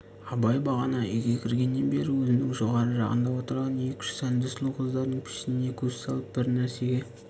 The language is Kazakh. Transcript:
абай бағана үйге кіргеннен бері өзінің жоғары жағында отырған екі-үш сәнді сұлу қыздардың пішініне көз салып бір нәрсеге